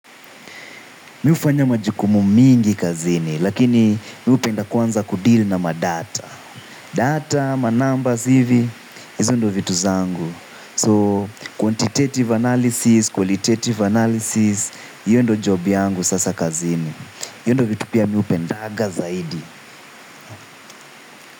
Miufanya majukumu mingi kazini, lakini mi hupenda kwanza kudeal na madata. Data, ma numbers hivi, hizo ndo vitu zangu. So, quantitative analysis, qualitative analysis, hiyo ndo job yangu sasa kazini. Hiyo ndo vitu pia mi hupendaga zaidi.